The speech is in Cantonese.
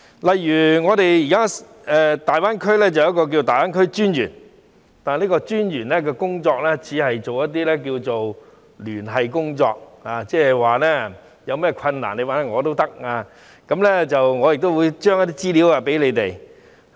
例如我們現時有一名粵港澳大灣區發展專員，但這名專員只是做一些聯繫工作，如果我們有困難可以找他，他亦會將資料交給我們。